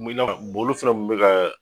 Min na olu fɛnɛ kun me ka